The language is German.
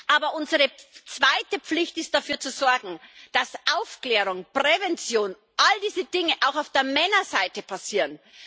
Aber unsere zweite Pflicht ist es, dafür zu sorgen, dass Aufklärung, Prävention, all diese Dinge auch auf der Männerseite passieren.